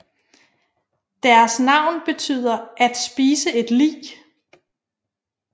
Deres navn betyder at spise et lig